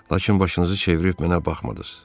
Lakin başınızı çevirib mənə baxmadınız.